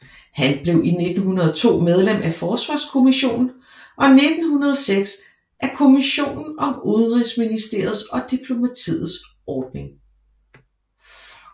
Han blev 1902 medlem af Forsvarskommissionen og 1906 af kommissionen om Udenrigsministeriets og diplomatiets ordning